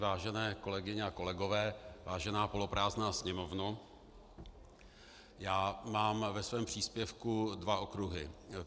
Vážené kolegyně a kolegové, vážená poloprázdná sněmovno, já mám ve svém příspěvku dva okruhy.